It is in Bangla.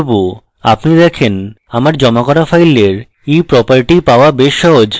আপনি দেখেন আপনার জমা করা file eproperty পাওয়া বেশ সহজ